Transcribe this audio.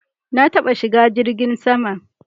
Na taɓa shiga jirgin sama